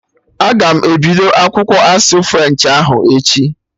Aga m ebido akwụkwọ asụsụ french ahụ echi